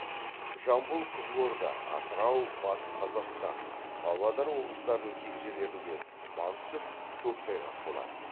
жамбыл қызылорда атырау батыс қазақстан павлодар облыстарының кей жерлерінде тұман түсіп көктайғақ болады